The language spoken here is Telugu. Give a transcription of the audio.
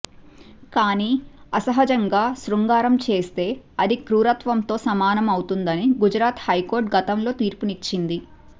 కానీ అసహజంగా శృంగారం చేస్తే అది క్రూరత్వంతో సమానం అవుతుందని గుజరాత్ హైకోర్టు కోర్టు గతంలో తీర్పునిచ్చింది